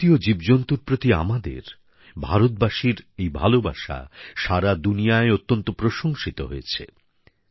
প্রকৃতি ও জীবজন্তুর প্রতি আমাদের ভারতবাসীর এই ভালোবাসা সারা দুনিয়ায় অত্যন্ত প্রশংসিত হয়েছে